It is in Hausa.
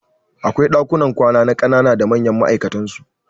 Akwai ɗakunan kwana ma kanana da manyan ma'aikatan su